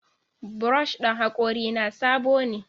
Brush ɗin hakorina sabo ne.